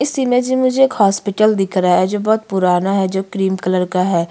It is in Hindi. इस इमेजी में मुझे एक हॉस्पिटल दिख रहा है जो बहोत पुराना है जो क्रीम कलर का हैं।